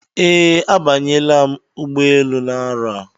Ee, a banyela m ụgbọelu na-arọ a.